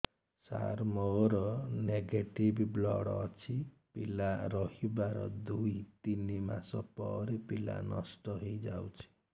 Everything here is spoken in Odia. ସାର ମୋର ନେଗେଟିଭ ବ୍ଲଡ଼ ଅଛି ପିଲା ରହିବାର ଦୁଇ ତିନି ମାସ ପରେ ପିଲା ନଷ୍ଟ ହେଇ ଯାଉଛି